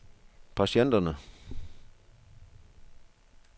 patienterne